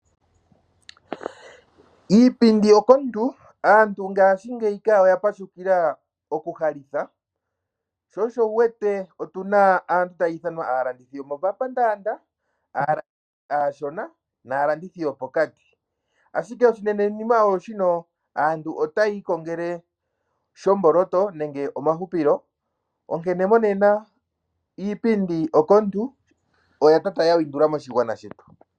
Iipindi omomeho. Aantu ngashingeyi oya pashukila okuhalitha. Sho osho wu wete otu na aantu mba tayi ithanwa aalandithi yomomapandaanda, aalandithi aashona naalandithi yopokati. Ashike oshinenenima osho shino kutya aantu otaya ikongele shomboloto nenge omahupilo. Onkene monena iipindi omomeho, oya tata ya windula moshigwana shetu.